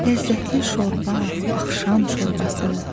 Ləzzətli şorba, axşam şorbası.